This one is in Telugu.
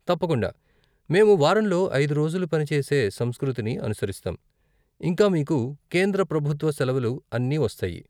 తప్పకుండా, మేము వారంలో ఐదు రోజులు పని చేసే సంస్కృతిని అనుసరిస్తాం, ఇంకా మీకు కేంద్ర ప్రభుత్వ సెలవులు అన్ని వస్తాయి.